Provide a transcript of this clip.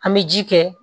An bɛ ji kɛ